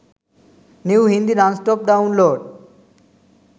new hindi nonstop download.